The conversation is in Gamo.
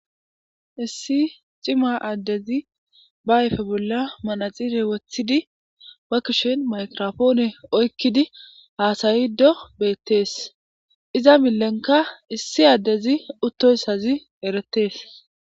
Issi coma addezi ba ayfe bolla manaxire wothidi ba lushen maygirapone oykido hassayofo betees. Iza milenka issi addezi uttoysazieretees.